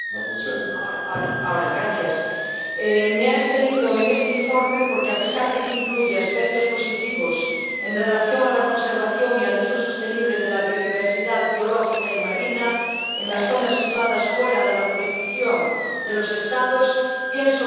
Me he abstenido en este informe porque, a pesar de que incluye aspectos positivos en relación con la conservación y el uso sostenible de la biodiversidad biológica y marina en las zonas situadas fuera de la jurisdicción de los Estados, pienso que esto no será posible porque está en contradicción